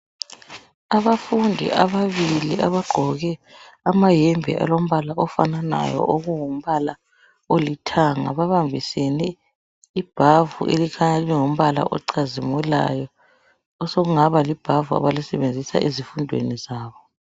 Abafundi ababili abagqoke amahembe alombala ofananayo, okungumbala olithanga. Babambisene ibhavu elikhanya lingumbala ocazimulayo osokungaba libhavu abalisebenzisa ezifundweni zabo.